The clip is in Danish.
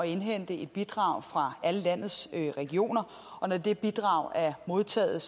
indhente et bidrag fra alle landets regioner og når det bidrag er modtaget